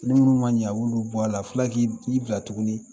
N minnu ma ɲɛ, a b'olu bɔ a la, a bi fila k'i i bila tuguni.